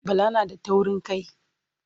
Bala na da taurin kai.